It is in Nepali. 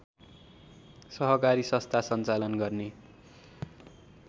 सहकारी सस्था सञ्चालन गर्ने